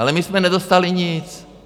Ale my jsme nedostali nic.